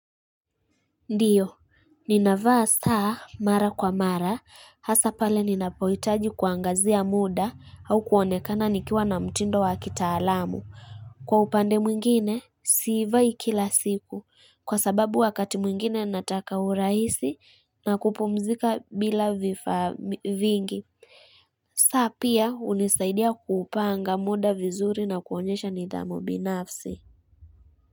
Ndiyo, ninavaa saa mara kwa mara, hasa pale ninapohitaji kuangazia muda au kuonekana nikiwa na mtindo wa kitaalamu. Kwa upande mwingine, siivai kila siku, kwa sababu wakati mwingine nataka uraisi na kupumzika bila vifaa vingi. Saa pia hunisaidia kuupanga muda vizuri na kuonyesha nidhamu binafsi.